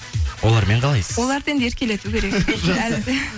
олармен қалайсыз оларды енді еркелету керек жақсы әлі де